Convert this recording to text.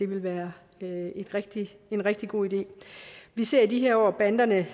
være en rigtig god idé vi ser i de her år banderne